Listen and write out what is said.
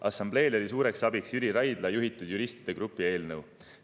Assambleel oli suureks abiks Jüri Raidla juhitud juristide grupi eelnõu.